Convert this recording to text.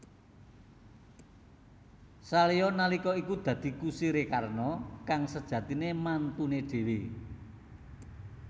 Salya nalika iku dadi kusiré Karna kang sejatiné mantuné dhéwé